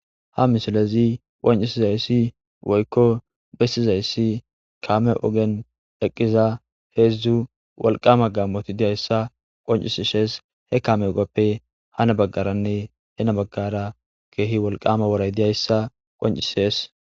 ha misilezi qoncisizayssi woykko bessizayssi kaame ogen dheqqiza heezdzu walqama gammoti diyayssa qoncisishees he kame ogoppe hana baggaranne hena baggara keehi walqama woray diyayssa qoncisees